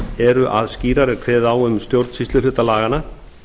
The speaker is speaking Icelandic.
eru að skýrar er kveðið á um stjórnsýsluhluta laganna